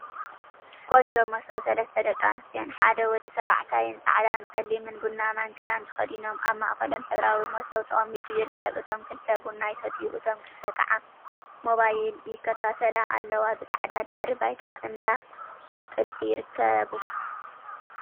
ቆንጆ መሶብ! ሰለስተ ደቂ ኣንስትዮን ሓደ ወዲ ተባዕታይን ጻዕዳ፣ ጸሊምን ቡናማን ክዳን ተከዲኖም ኣብ ማእከሎም ሕብራዊ መሶብ ተቀሚጡ ይርከብ። እቶም ክልተ ቡና ይሰትዩ እቶም ክልተ ከዓ ሞባይል ይከታተላ ኣለዋ። ብጻዕዳ ድሕረ ባይታ እንዳ ጥልፊ ይርከቡ።